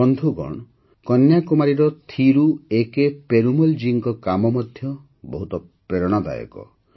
ବନ୍ଧୁଗଣ କନ୍ୟାକୁମାରୀର ଥିରୁ ଏକେ ପେରୁମଲ୍ ଜୀଙ୍କ କାମ ମଧ୍ୟ ବହୁତ ପ୍ରେରଣାଦାୟକ